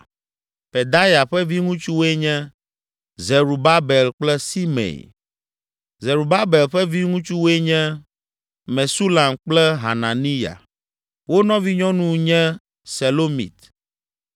Pedaya ƒe viŋutsuwoe nye, Zerubabel kple Simei. Zerubabel ƒe viŋutsuwoe nye, Mesulam kple Hananiya. Wo nɔvinyɔnu nye Selomit